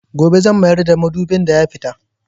Gobe zan mayar da madubin da ya fita.